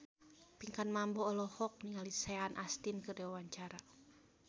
Pinkan Mambo olohok ningali Sean Astin keur diwawancara